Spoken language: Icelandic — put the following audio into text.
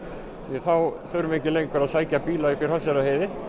þá þurfum við ekki lengur að sækja bíla upp á Hrafnseyrarheiði